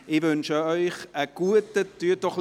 Ich wünsche Ihnen einen guten Appetit.